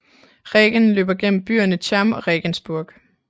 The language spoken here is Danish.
Regen løber gennem byerne Cham og Regensburg